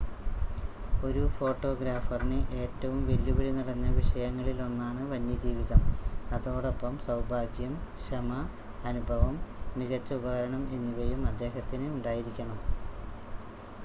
ഒരു ഫോട്ടോഗ്രാഫറിന് ഏറ്റവും വെല്ലുവിളി നിറഞ്ഞ വിഷയങ്ങളിലൊന്നാണ് വന്യജീവിതം അതോടൊപ്പം സൗഭാഗ്യം ക്ഷമ അനുഭവം മികച്ച ഉപകരണം എന്നിവയും അദ്ദേഹത്തിന് ഉണ്ടായിരിക്കണം